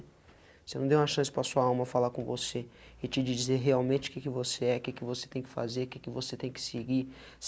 Você não deu uma chance para a sua alma falar com você e te dizer realmente o que que você é, que que você tem que fazer, que que você tem que seguir.